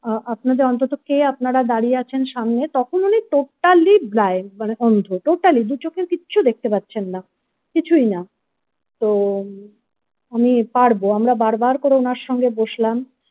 আপনাদের অন্তত কে আপনারা দাঁড়িয়ে আছেন সামনে তখন উনি ততালি blind মানে অন্ধ তটালি দু চোখের কিচ্ছু দেখতে পাচ্ছেন না কিছুই না তো আমি পারবো আমরা বারবার করে ওনার সঙ্গে বসলাম।